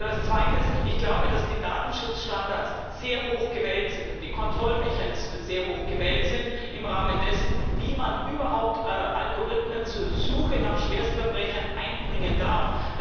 Und als Zweites Ich glaube, dass die Datenschutzstandards und die Kontrollmechanismen sehr hoch gewählt sind im Rahmen dessen, wie man überhaupt Algorithmen zur Suche nach Schwerstverbrechern einbringen darf.